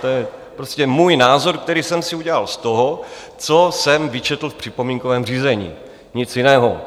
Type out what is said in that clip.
To je prostě můj názor, který jsem si udělal z toho, co jsem vyčetl v připomínkovém řízení, nic jiného.